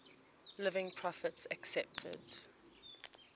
living prophets accepted